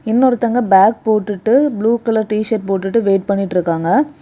இன்னொருதுவங்க bag போட்டுட்டு blue colour t shirt போட்டுட்டு wait பண்ணிட்டுருக்காங்க.